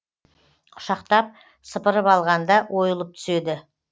құшақтап сыпырып алғанда ойылып түседі